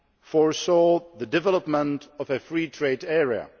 foresaw the development of a free trade area.